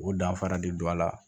O danfara de don a la